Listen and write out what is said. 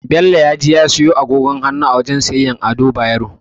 Bello ya je ya siyo agogin hannu a wajen siyayyar Ado Bayero.